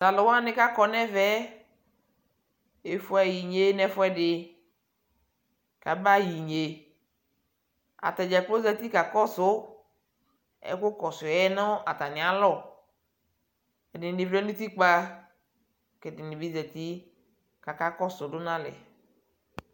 to alo wani ko akɔ no ɛvɛ efue aɣa inye no ɛfuɛdi ko aba yɛ inye atadza kplo zati kakɔso ɛko kɔsuɛ no atani alɔ ɛdini vlɛ no utikpa ko ɛdini bi zati ko aka kɔso do no alɛ